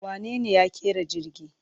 Wanene ya ƙera jirgi?